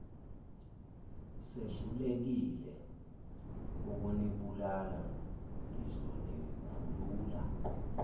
sehlulekile ukunibulala ngizonikhulula